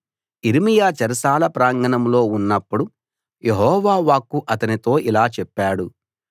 యిర్మీయా చెరసాల ప్రాంగణంలో ఉన్నప్పుడు యెహోవా వాక్కు అతనితో ఇలా చెప్పాడు